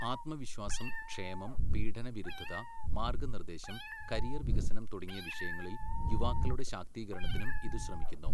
ആത്മവിശ്വാസം, ക്ഷേമം, പീഡന വിരുദ്ധത, മാർഗനിർദേശം, കരിയർ വികസനം തുടങ്ങിയ വിഷയങ്ങളിൽ യുവാക്കളുടെ ശാക്തീകരണത്തിനും ഇത് ശ്രമിക്കുന്നു.